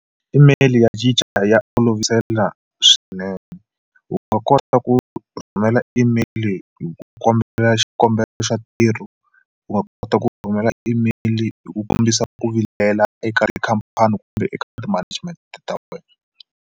Email ya cinca ya olovisela swinene u nga kota ku rhumela email hi ku kombela xikombelo xa ntirho wa kota ku rhumela email hi ku kombisa ku vilela eka tikhampani kumbe eka ti-management ta wena.